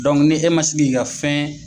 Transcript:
ni e man si k'i ka fɛn